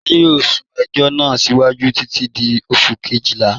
Adajọ yọọ sún ẹjọ̀ náà síwájú títi di Oṣù̀ kẹ́jìlá.